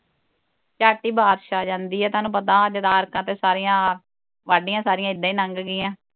ਝੱਟ ਈ ਬਾਰਸ਼ ਆ ਜਾਂਦੀ ਆ ਤੁਹਾਨੂੰ ਪਤਾ ਸਾਰੀਆਂ ਵਾਢੀਆਂ ਸਾਰੀਆਂ ਇੱਦਾਂ ਈ ਨੰਗ ਗਈਆਂ